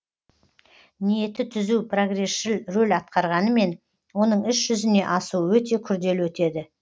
ниеті түзу прогресшіл рөл атқарғанымен оның іс жүзіне асуы өте күрделі өтеді